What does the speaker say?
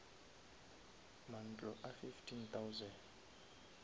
mantlo a fifteen thousand